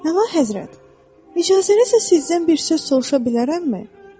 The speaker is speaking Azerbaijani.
Möhtəşəm Həzrət, icazənizlə sizdən bir söz soruşa bilərəmmi?